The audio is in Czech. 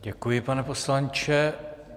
Děkuji, pane poslanče.